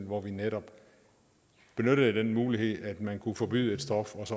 hvor vi netop benyttede den mulighed at man kunne forbyde et stof